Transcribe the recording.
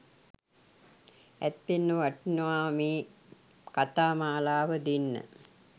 ඇත්තෙන්ම වටිනවා මේ කතාමාලාව දෙන්න